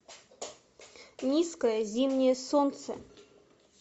низкое зимнее солнце